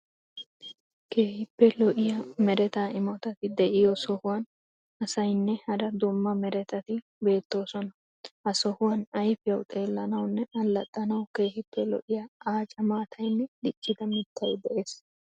Keehippe lo'iya mereta imotati de'iyo sohuwan asayinne hara dumma meretati beettoosona. Ha sohuwan ayfiyawu xeellanawunne allaxxanawu keehippe lo'iya aaca maatayinne diccida miittay de'ees.